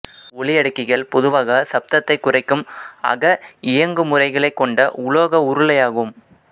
ஒலியடக்கிகள் பொதுவாக சப்தத்தை குறைக்கும் அக இயங்குமுறைகளை கொண்ட உலோக உருளையாகும்